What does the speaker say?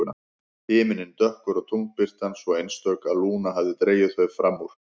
Himinninn dökkur og tunglbirtan svo einstök að Lúna hafði dregið þau fram úr.